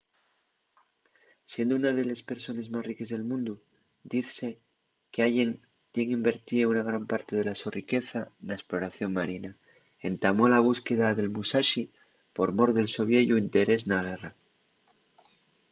siendo una de les persones más riques del mundu dizse qu’allen tien invertío una gran parte de la so riqueza na esploración marina. entamó la búsqueda del musashi por mor del so vieyu interés na guerra